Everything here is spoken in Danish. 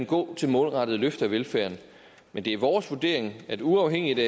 gå til målrettede løft af velfærden men det er vores vurdering at uafhængig